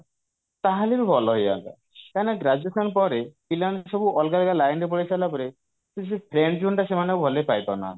ତାହେଲେ ବି ଭଲ ହେଇଯାନ୍ତା କାହିଁକି ନା graduation ପରେ ପିଲାମାନେ ସବୁ ଅଲଗା ଅଲଗା line ରେ ପଳେଇସାରିଲା ପରେ ସେଇ ଯଉ friend zone ଟା ସେମାନେ ଆଉ ଭଲରେ ପାଇପାରୁନାହାନ୍ତି